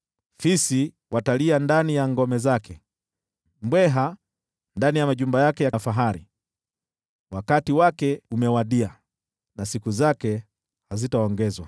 Fisi watalia ndani ya ngome zake, mbweha ndani ya majumba yake ya kifahari. Wakati wake umewadia, na siku zake hazitaongezwa.